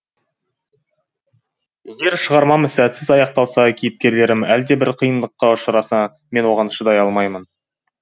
егер шығармам сәтсіз аяқталса кейіпкерлерім әлдебір қиындыққа ұшыраса мен оған шыдай алмаймын